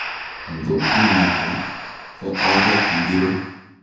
Ngo u noto, ko oret ngiro?